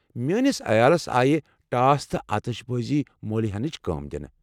میٲنس عیالَس آیہِ ٹاس تہٕ آتش بٲزی موٚلۍ ہینٕچ کٲم دِنہٕ۔